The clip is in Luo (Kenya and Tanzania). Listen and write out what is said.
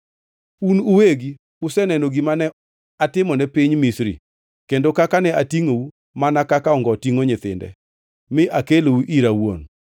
‘Un uwegi useneno gima ne atimone piny Misri kendo kaka ne atingʼou mana kaka ongo tingʼo nyithinde mi akelou ira awuon.